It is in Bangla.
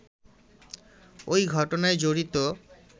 ওই ঘটনায় জড়িত